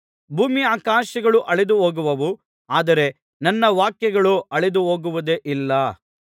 ಭೂಮ್ಯಾಕಾಶಗಳು ಅಳಿದುಹೋಗುವವು ಆದರೆ ನನ್ನ ವಾಕ್ಯಗಳೋ ಅಳಿದುಹೋಗುವುದೇ ಇಲ್ಲ